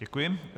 Děkuji.